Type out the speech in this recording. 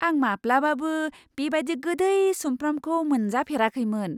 आं माब्लाबाबो बेबादि गोदै सुमफ्रामखौ मोनजाफेराखैमोन !